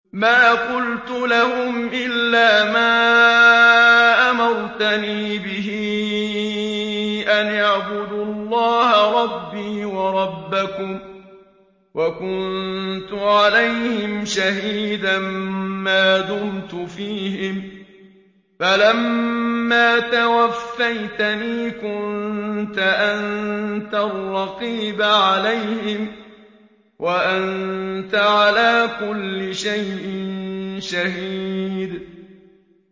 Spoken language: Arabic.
مَا قُلْتُ لَهُمْ إِلَّا مَا أَمَرْتَنِي بِهِ أَنِ اعْبُدُوا اللَّهَ رَبِّي وَرَبَّكُمْ ۚ وَكُنتُ عَلَيْهِمْ شَهِيدًا مَّا دُمْتُ فِيهِمْ ۖ فَلَمَّا تَوَفَّيْتَنِي كُنتَ أَنتَ الرَّقِيبَ عَلَيْهِمْ ۚ وَأَنتَ عَلَىٰ كُلِّ شَيْءٍ شَهِيدٌ